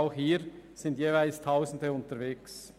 Auch hier sind jeweils Tausende unterwegs.